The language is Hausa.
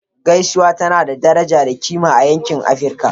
Gaisuwa tana da kima da daraja a Nijeriya